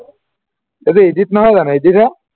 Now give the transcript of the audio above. এইটো edit নহয়জানো edit হে